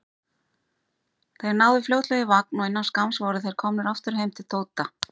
Þeir náðu fljótlega í vagn og innan skamms voru þeir komnir aftur heim til Tóta.